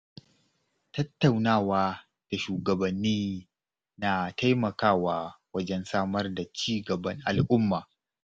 Tattaunawa da shugabanni na taimakawa wajen samar da ci gaban al'umma.